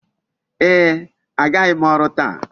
Ee, agaghị m ọrụ taa.